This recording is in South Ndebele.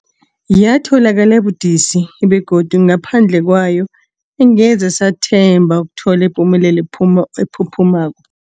Yatholakala budisi, begodu ngaphandle kwayo angeze sathemba ukuthola ipumelelo phuma ephuphumako.